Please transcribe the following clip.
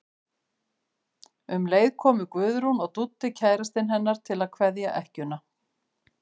Um leið komu Guðrún og Dúddi kærastinn hennar til að kveðja ekkjuna.